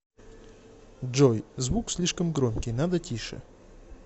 джой звук слишком громкий надо тише